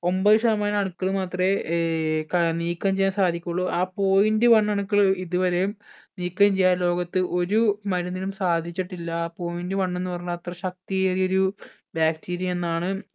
ഒമ്പത് ശതമാനം അണുക്കള് മാത്രേ ഏർ നീക്കം ചെയ്യാൻ സാധിക്കുള്ളു ആ point one അണുക്കള് ഇത് വരെയും നീക്കം ചെയ്യാൻ ലോകത്ത് ഒരു മരുന്നിനും സാധിച്ചിട്ടില്ല point one എന്ന് പറഞ്ഞാ അത്ര ശക്തിയേറിയ ഒരു bacteria എന്നാണ്